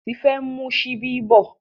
Tife n mu Ṣíbí bó.